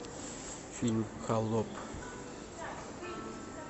фильм холоп